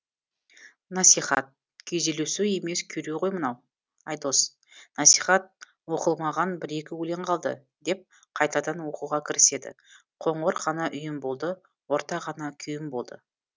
насихат күйзелісу емес күйреу ғой мынау айдос насихат оқылмаған бір екі өлең қалды деп қайтадан оқуға кіріседі қоңыр ғана үйім болды орта ғана күйім болды